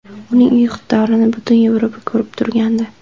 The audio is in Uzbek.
Uning iqtidorini butun Yevropa ko‘rib turgandi.